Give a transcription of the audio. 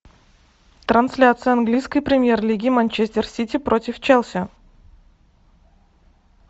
трансляция английской премьер лиги манчестер сити против челси